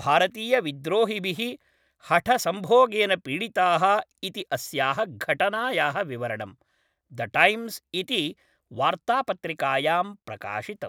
भारतीयविद्रोहिभिः हठसंभोगेन पीडिताः इति अस्याः घटनायाः विवरणं, द टैम्स् इति वार्त्तापत्रिकायां प्रकाशितम्।